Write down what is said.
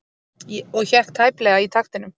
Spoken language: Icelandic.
Og hékk tæplega í taktinum.